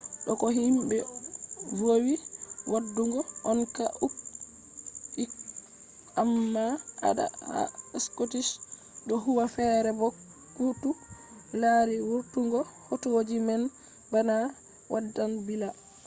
do ko himbe vowi wadugo on ha uk amma adala ha scottish do huwa fere bo koutu lari vurtungo hotoji man bana waddan billa